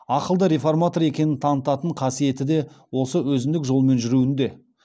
ақылды реформатор екенін танытанын қасиеті де осы өзіндік жолмен жүруінде